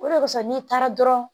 O de kosɔn n'i taara dɔrɔn